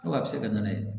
Ko a bɛ se ka na ye